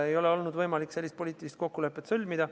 Pole olnud võimalik sellist poliitilist kokkulepet sõlmida.